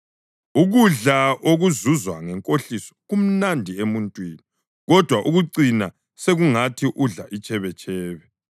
Ukudla okuzuzwe ngenkohliso kumnandi emuntwini, kodwa kucina sekungathi udla itshebetshebe.